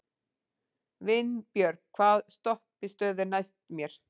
Vinbjörg, hvaða stoppistöð er næst mér?